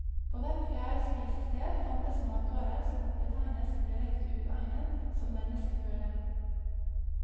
På hvert fjerde spisested fantes matvarer som betegnes som direkte uegnet som menneskeføde.